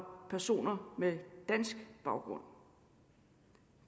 personer med dansk baggrund